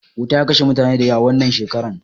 Wuta ya kashe mutane da yawa wannan shekara